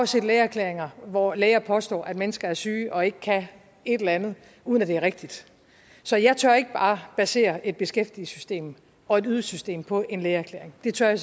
set lægeerklæringer hvor læger påstår at mennesker er syge og ikke kan et eller andet uden at det er rigtigt så jeg tør ikke bare basere et beskæftigelsessystem og et ydelsessystem på en lægeerklæring det tør jeg